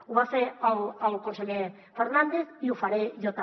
ho va fer el conseller fernàndez i ho faré jo també